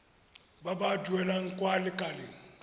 ba ba duelang kwa lekaleng